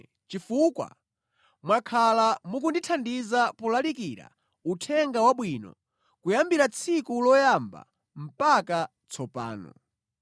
chifukwa mwakhala mukundithandiza polalikira Uthenga Wabwino kuyambira tsiku loyamba mpaka tsopano.